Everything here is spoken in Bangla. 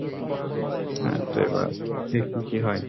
হ্যাঁ তো এবার দেখি কি হয়।